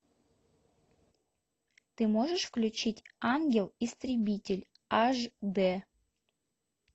ты можешь включить ангел истребитель аш д